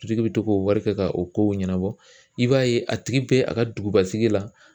Sotigi bɛ to k'o wari kɛ ka o kow ɲɛnabɔ, i b'a ye a tigi bɛ a ka dugubasigi la